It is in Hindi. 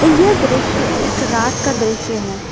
यह दृश्य एक रात का दृश्य है।